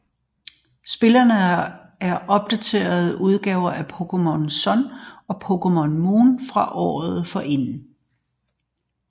Spillene er opdaterede udgaver af Pokémon Sun og Pokémon Moon fra året forinden